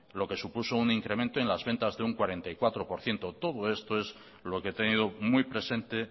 lo que supuso un incremento en las ventas de un cuarenta y cuatro por ciento todo esto es lo que he tenido muy presente